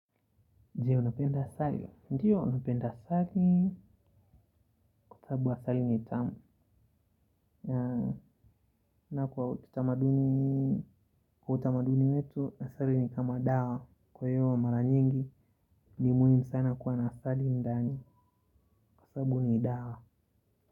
Je unapenda asali. Ndiyo napenda asali kwasababu asali ni itama. Na kwa utamaduni wetu asali ni kama dawa. Kwa hiyo wa mara nyingi ni muhimu sana kuwa na sali ndani kwasababu ni dawa.